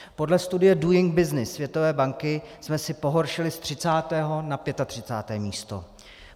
Podle studie Doing Business Světové banky jsme si pohoršili z 30. na 35. místo.